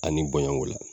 Ani bonɲɔn ko la